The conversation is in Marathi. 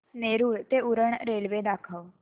नेरूळ ते उरण रेल्वे दाखव